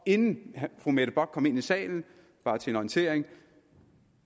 inden fru mette bock kom ind i salen bare til en orientering